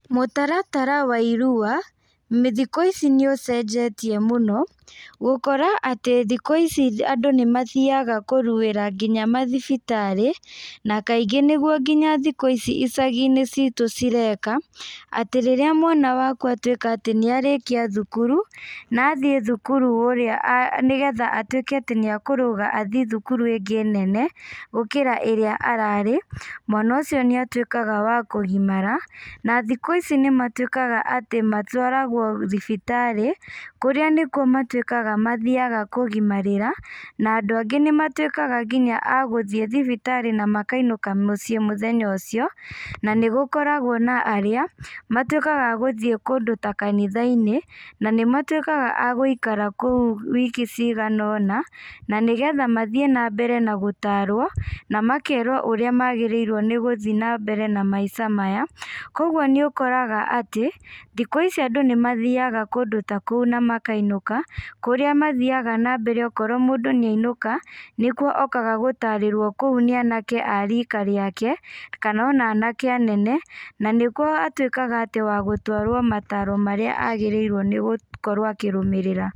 Mũtaratara wa irua, thikũ ici nĩũcenjetie mũno gũkora atĩ thikũ ici atĩ andũ nĩ mathiaga kũruĩra nginya mathibitarĩ na kaingĩ nĩguo nginya thikũ ici icaginĩ citũ cireka, atĩ rĩrĩa mwana waku atuĩka atĩ nĩarĩkia thukuru na athiĩ thukuru nĩgetha atwĩke atĩ nĩekũrũga athiĩ thukuru iyo ĩngĩ nene gũkira ĩria ararĩ, mwana ũcio nĩatwĩkaga wa kũgimara na thikũ ici nĩ matwĩkaga atĩ matwaragwo thibitarĩ kũrĩa nĩkũo matwĩkaga mathiaga kũgĩmarĩra na andũ angĩ nĩmatwĩkaga nginya agũthiĩ thibitarĩ na makainũka mũciĩ mũthenya ũcio na nĩgũkoragwo na arĩa matwĩkaga agũthiĩ kũndũ ta kanitha-inĩ na nĩ matwĩkaga a gũikara kũu wiki cigana ũna na nĩgetha mathiĩ na mbere na gũtarwo na makerwo ũrĩa magĩrĩirwo nĩgũthiĩ na mbere na maica maya. Kogũo nĩũkoraga atĩ thikũ ici andũ nĩ mathiaga kũndũ ta kũu na makainũka kũrĩa mathiaga na mbere okorwo mũndũ nĩ ainũka nĩguo okaga gũtarĩrwo kũu nĩ anake a rika rĩake kana ona anake a nene na nĩguo atwĩkaga atĩ wa gũtwarwo mataro marĩa agĩrĩirwo nĩgũkorwo akĩrũmĩrĩra